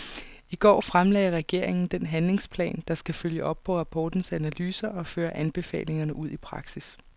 I går fremlagde regeringen den handlingsplan, der skal følge op på rapportens analyser og føre anbefalingerne ud i praksis.